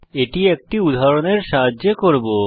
এটি একটি উদাহরণের সাহায্যে করব